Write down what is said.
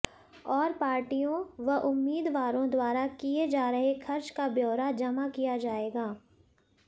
और पार्टियों व उम्मीदवारों द्वारा किए जा रहे खर्च का ब्योरा जमा किया जाएगा